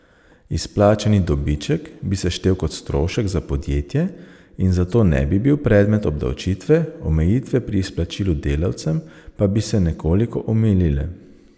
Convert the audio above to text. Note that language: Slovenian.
Izplačani dobiček bi se štel kot strošek za podjetje in zato ne bi bil predmet obdavčitve, omejitve pri izplačilu delavcem pa bi se nekoliko omilile.